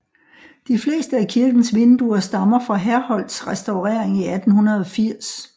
De fleste af kirkens vinduer stammer fra Herholdts restaurering i 1880